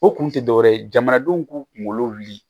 O kun tɛ dɔwɛrɛ ye jamanadenw k'u kunkolo wuli